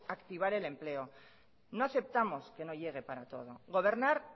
activar el empleo no aceptamos que no llegue para todo gobernar